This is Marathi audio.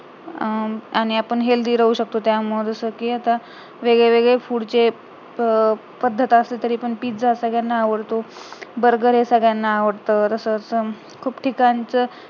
आणि आपण healthy राहू शकतो त्या आता वेगळेवेगळे food चे अं पद्धत असली तरी pizza सगळ्यांना आवडतो burger हे सगळ्यांना आवडतो तसेच खूप ठिकाणच